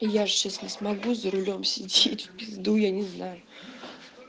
и я же сейчас не смогу за рулём сидеть в пизду я не знаю